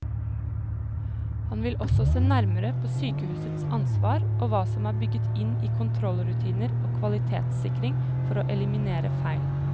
Han vil også se nærmere på sykehusets ansvar og hva som er bygget inn i kontrollrutiner og kvalitetssikring for å eliminere feil.